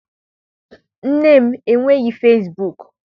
Nne m enweghị fesibuuku.